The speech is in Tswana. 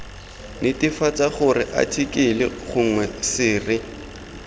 netefatsa gore athikele gongwe sere